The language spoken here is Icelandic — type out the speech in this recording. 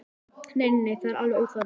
Nei, nei, það er alveg óþarfi.